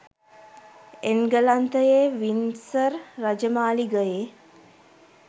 එන්ගලන්තයේ Windsor රජමාලිගයේ